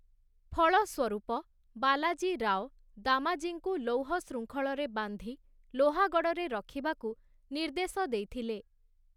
ଫଳସ୍ୱରୂପ, ବାଲାଜୀ ରାଓ, ଦାମାଜୀଙ୍କୁ ଲୌହ ଶୃଙ୍ଖଳରେ ବାନ୍ଧି ଲୋହାଗଡ଼଼ରେ ରଖିବାକୁ ନିର୍ଦ୍ଦେଶ ଦେଇଥିଲେ ।